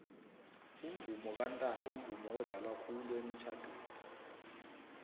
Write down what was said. umvomo kantanto mvumo odlalwa khulu emitjhadweni